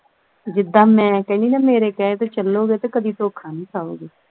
ਜਿੱਦਾਂ ਮੈਂ ਕਹਿਨੀ ਹਾਂ ਮੇਰੇ ਕਹੇ ਤੇ ਚਲੋਗੇ ਤੇ ਕਦੀ ਧੋਖਾ ਨਹੀਂ ਖਾਓਗੇ